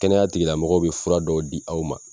Kɛnɛya tigilamɔgɔw be fura dɔw di aw ma